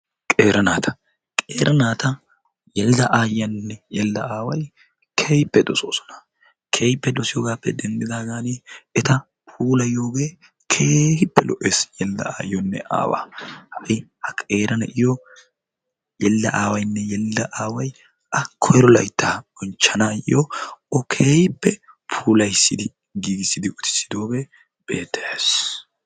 Qeera naata ! qeera naata yelida ayiyaanne yelida aaway keehippe dosoosona keehippe dosiyoogaappe denddidaagaan eta puulayioogee keehippe lo'es yelida aayioonne aawaa ha'i ha qeera na'iyoo yelida ayiaanne yelida aaway a koyro laytta bonchchanayoo o keehippe puulayissidi giigissidi utisidoogee beettes.